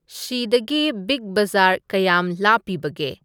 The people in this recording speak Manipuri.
ꯁꯤꯗꯒꯤ ꯕꯤꯛ ꯕꯖꯥꯔ ꯀꯌꯥꯝ ꯂꯥꯞꯄꯤꯒꯦ